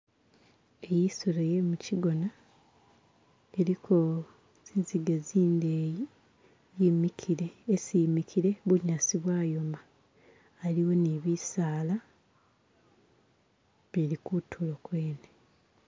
Iyi isolo ye'mukigona iliko zinziga zindeyi yimikile, esi yi'mikile bunyasi bwayoma, aliwo ni bisala bili kutulo kwene.